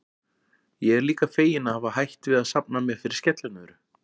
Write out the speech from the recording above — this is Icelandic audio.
Ég er líka feginn að hafa hætt við að safna mér fyrir skellinöðru.